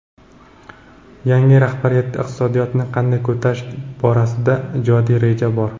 yangi rahbariyatda iqtisodiyotni qanday ko‘tarish borasida ijodiy reja bor.